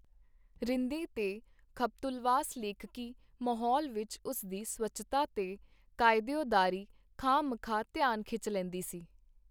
ਰਿੰਦੀ ਤੇ ਖਬਤੁਲਵਾਸ ਲੇਖਕੀ ਮਾਹੌਲ ਵਿਚ ਉਸ ਦੀ ਸਵੱਛਤਾ ਤੇ ਕਾਇਦਿਓਦਾਰੀ ਖਾਹ-ਮਖਾਹ ਧਿਆਨ ਖਿੱਚ ਲੈਂਦੀ ਸੀ.